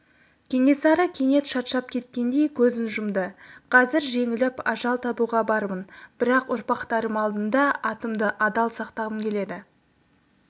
кенесары кенет шаршап кеткендей көзін жұмды қазір жеңіліп ажал табуға бармын бірақ ұрпақтарым алдында атымды адал сақтағым келеді